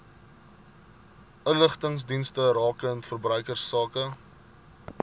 inligtingsdienste rakende verbruikersake